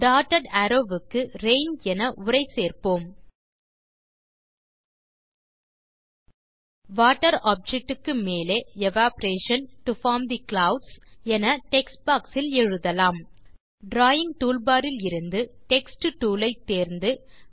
dotted arrows க்கு rain என உரை சேர்ப்போம் வாட்டர் ஆப்ஜெக்ட் க்கு மேலே evaporation to form the clouds என டெக்ஸ்ட் பாக்ஸ் இல் எழுதலாம் டிராவிங் டூல்பார் இலிருந்து டெக்ஸ்ட் டூல் ஐ தேர்ந்து